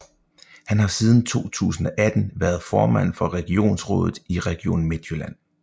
Han har siden 2018 været formand for regionsrådet i Region Midtjylland